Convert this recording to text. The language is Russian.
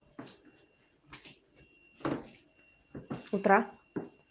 утра